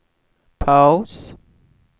paus